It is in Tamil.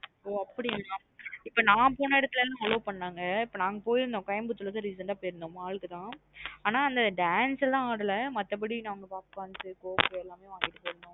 ஒ அப்டியான இப்போ ந போன இடதுல்லாம் allow பண்ணாங்க. நாங்க போயிருந்தோம் Coimbatore recent ஆ போயிருந்தோம் mall க்கு தான் ஆன dance லாம் ஆடல மத்த படி popcorn cocs எல்லாம் வாங்கிட்டு போயிருந்தோம்.